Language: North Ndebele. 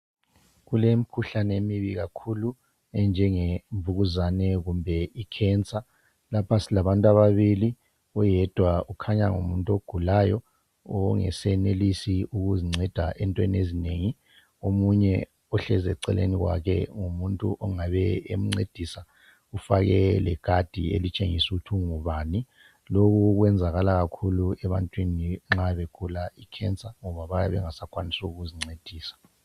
Kulemkhuhlane emibi kakhulu enjenge mvukuzane kumbe icancer .Lapha silabantu ababili oyedwa ukhanya ngumuntu ogulayo ongasenelisi ukuzinceda entweni ezinengi .Omunye ohlezi eceleni kwakhe ngumuntu ongabe emncedisa ufake lekhadi elitshengisa ukuthi ungubani lokhu kwenzakala kakhulu ebantwini nxa begula icancer ngoba bayabe bengasa kwanisi ukuzincedisa.